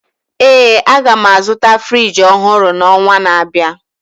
ee, a ga m azụta Friji ọhụrụ n'ọnwa na-abịa